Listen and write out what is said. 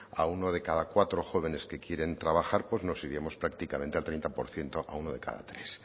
a uno de cada cuatro jóvenes que quieren trabajar pues nos iremos prácticamente al treinta por ciento a uno de cada tres